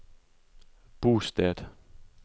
bosted